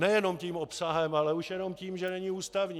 Nejenom tím obsahem, ale už jenom tím, že není ústavní.